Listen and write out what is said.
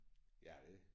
Ja det